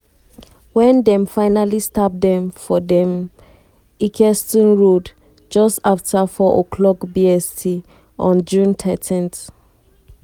wen dem fatally stab dem for dem for ilkeston road just afta 04:00 bst on thirteen june.